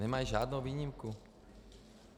Nemají žádnou výjimku.